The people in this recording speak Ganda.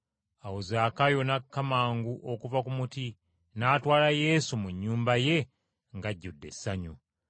Awo Zaakayo n’akka mangu okuva ku muti n’atwala Yesu mu nnyumba ye ng’ajjudde essanyu.